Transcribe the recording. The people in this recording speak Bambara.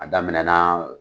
A daminɛna.